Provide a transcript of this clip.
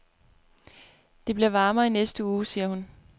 Det bliver varmere i næste uge, siger hun.